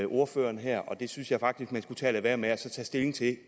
ordføreren her og det synes jeg faktisk man skulle lade være med og så tage stilling til